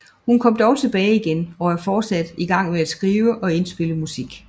Hun kom dog tilbage igen og er fortsat i gang med at skrive og indspille musik